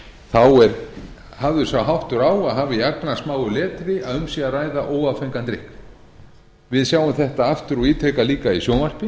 þá er hafður sá háttur á að hafa í agnarsmáu letri að um sé að ræða óáfengan drykk við sjáum þetta aftur og ítrekað líka í sjónvarpi